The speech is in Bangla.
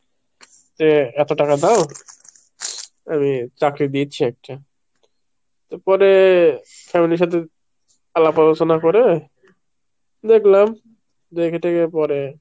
যে এত টাকা দাও আমি চাকরি দিচ্ছি একটা, পরে family র সাথে আলাপ আলোচনা করে দেখলাম দেখে টেখে পরে